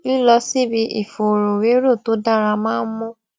lílọ síbi ìfòròwérò tó dára máa ń mú